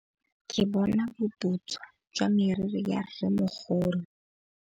Ke bone boputswa jwa meriri ya rrêmogolo.